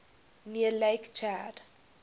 near lake chad